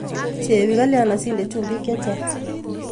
Chebi kalyan oside chubik chechang.